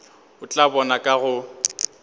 o tla bona ka go